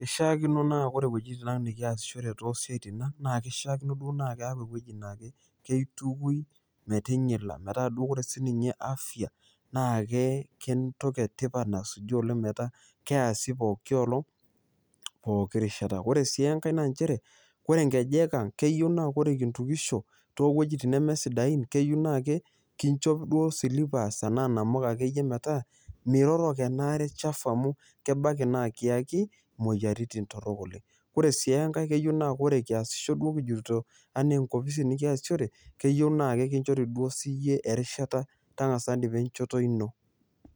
Ishakino ore wuejitin ang nikiasishore tosiatin aang naa ewuoi na keitukuni metinyila metaa ore duo sininye afya naa entoki etipat nasuju ena keasi pooki olong, pooki rishata, ore si enkae na nchere ore nkejeka ,keyieu na ore intukisho towoi sidain na kinchop duo silipas anaa namuka pemiroro enaare sapuk kebaki nikiyaki moyiaritin torokok oleng, ore si enkae ore kiasisho oleng keyieu na ekinchori siyie erishata nipik enchoto ino.